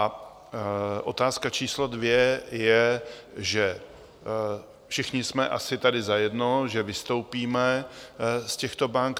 A otázka číslo dvě je, že všichni jsme tady asi zajedno, že vystoupíme z těchto bank.